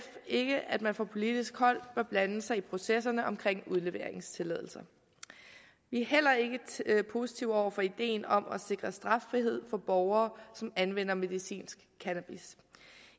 ikke at man fra politisk hold bør blande sig i processerne omkring udleveringstilladelser vi er heller ikke positive over for ideen om at sikre straffrihed for borgere som anvender medicinsk cannabis